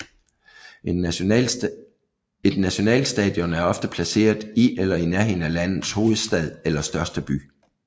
Et nationalstadion er ofte placeret i eller i nærheden af landets hovedstad eller største by